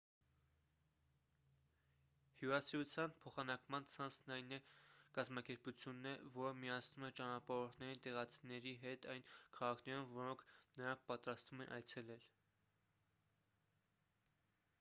հյուրասիրության փոխանակման ցանցն այն կազմակերպությունն է որը միացնում է ճանապարհորդներին տեղացիների հետ այն քաղաքներում որոնք նրանք պատրաստվում են այցելել